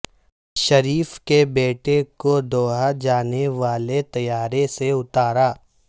شریف کے بیٹے کو دوحہ جانے والے طیارے سے اتارا